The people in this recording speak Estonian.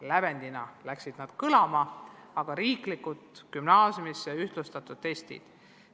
Räägiti lävendist ja gümnaasiumisse astumiseks üleriigiliselt ühtlustatud testidest.